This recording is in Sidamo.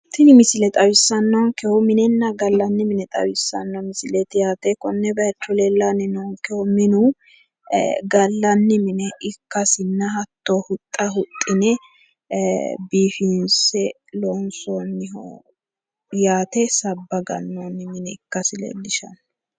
Tini misile xawissannonkehu minenna gallanni mine xawissanno misileeti yaate. Konne bayicho leellanni noonkehu minu gallanni mine ikkasinna hatto huxxa huxxine biifinse loonsoonniho yaate sabba gannoonni mine ikkasi leellishshanno.